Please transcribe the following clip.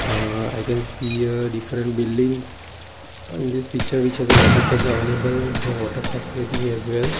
uhh i can see a different buildings in this picture which has water tank available so water facility as well.